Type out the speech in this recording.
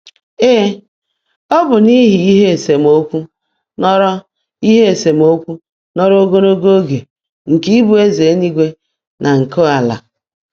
Ee, ọ bụ n’ihi ihe isemokwu nọrọ ihe isemokwu nọrọ ogologo oge nke ịbụ eze eluigwe na nke ala.